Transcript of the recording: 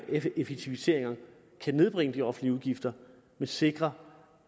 effektiviseringer kan nedbringe de offentlige udgifter men sikre